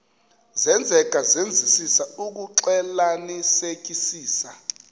senzeka senzisisa ukuxclelanisekisisa